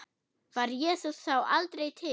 Var Jesús þá aldrei til?